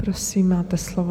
Prosím, máte slovo.